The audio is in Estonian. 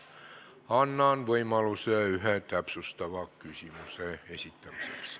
Annan iga teema arutelul võimaluse ühe täpsustava küsimuse esitamiseks.